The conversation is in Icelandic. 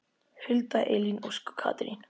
Hulda, Elín Ósk og Katrín.